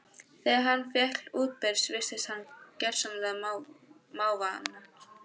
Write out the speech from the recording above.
Þegar hann féll útbyrðis virtist hann gersamlega máttvana.